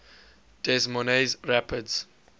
des moines rapids